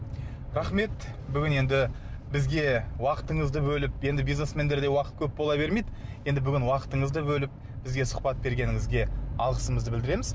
рахмет бүгін енді бізге уақытыңызды бөліп енді бизнесмендерде уақыт көп бола бермейді енді бүгін уақытыңызды бөліп бізге сұхбат бергеніңізге алғысымызды білдіреміз